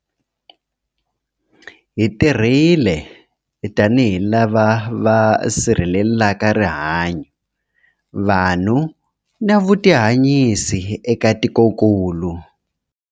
Hi tirhile tanihi lava va sirhelelaka rihanyu, vanhu na vutihanyisi eka tikokulu.